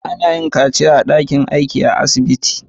Ana iya yin kaciya a'dakin aika a cikin asibiti.